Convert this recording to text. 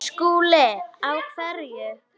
SKÚLI: Á hverju?